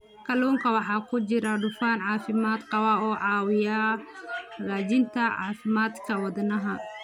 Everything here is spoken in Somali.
Kalluunka waxaa ku jira dufan caafimaad qaba oo caawiya hagaajinta caafimaadka wadnaha.